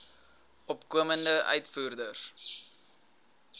opkomende uitvoerders